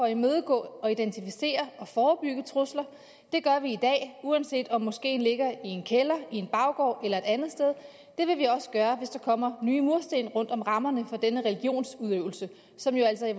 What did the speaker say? at imødegå identificere og forebygge trusler det gør vi i dag uanset om moskeen ligger i en kælder i en baggård eller et andet sted det vil vi også gøre hvis der kommer nye mursten rundt om rammerne for denne religionsudøvelse som jo altså i